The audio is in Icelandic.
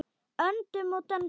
Öndum og dönsum.